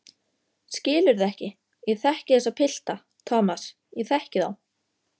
Skilurðu ekki, ég þekki þessa pilta, Thomas, ég þekki þá.